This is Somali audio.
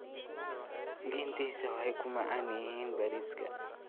Lentils waxay ku macaan yihiin bariiska